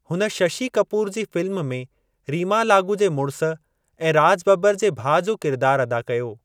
हुन शशी कपूर जी फ़िल्म में रीमा लागू जे मुड़िस ऐं राज बब्बर जे भाउ जो किरिदारु अदा कयो।